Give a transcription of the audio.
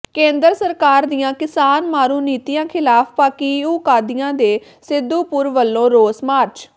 ਕੇਂਦਰ ਸਰਕਾਰ ਦੀਆਂ ਕਿਸਾਨ ਮਾਰੂ ਨੀਤੀਆਂ ਿਖ਼ਲਾਫ਼ ਭਾਕਿਯੂ ਕਾਦੀਆਂ ਤੇ ਸਿੱਧੂਪੁਰ ਵੱਲੋਂ ਰੋਸ ਮਾਰਚ